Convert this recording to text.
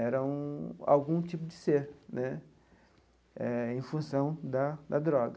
Era um algum tipo de ser né, eh em função da da droga.